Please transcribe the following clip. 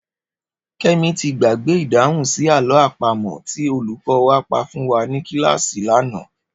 Ké̩mi ti gbàgbé ìdáhùn sí àló̩ àpamò̩ tí olùkó̩ wa pa fún wa ní kíláàsì lánàá